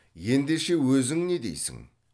ендеше өзің не дейсің